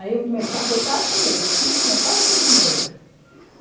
Aí eu primeiro, passei quatro meses, cinco mês, quase cinco meses lá.